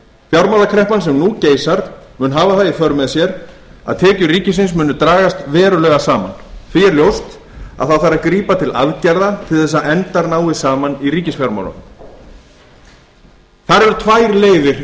fjármálakreppan sem nú geisar mun hafa það í för með sér að tekjur ríkisins munu dragast verulega saman því er ljóst að það þarf að grípa til aðgerða til þess að endar náist saman í ríkisfjármálunum þar eru tvær leiðir